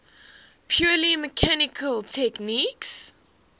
purely mechanical techniques